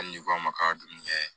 Hali ni ko a ma k'a dun kɛ